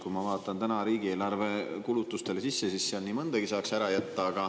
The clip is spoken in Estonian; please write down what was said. Kui ma vaatan riigieelarve kulutuste sisse, siis seal nii mõndagi saaks ära jätta.